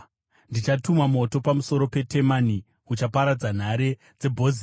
ndichatuma moto pamusoro peTemani uchaparadza nhare dzeBhozira.”